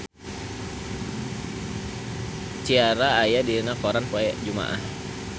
Ciara aya dina koran poe Jumaah